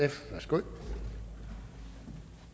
går